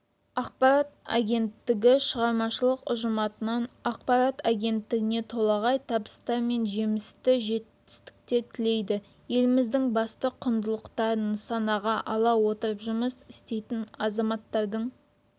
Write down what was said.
ақпарат агенттігі шығармашылық ұжыматынан ақпарат агенттігіне толағай табыстар мен жемісті жетістіктер тілейді еліміздің басты құндылықтарын нысанаға ала отырып жұмыс істейтін азаматтардың